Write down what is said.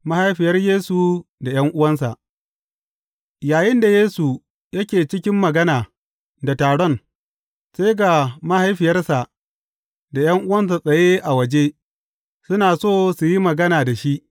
Mahaifiyar Yesu da ’yan’uwansa Yayinda Yesu yake cikin magana da taron, sai ga mahaifiyarsa da ’yan’uwansa tsaye a waje, suna so su yi magana da shi.